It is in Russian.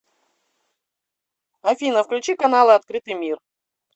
афина включи каналы открытый мир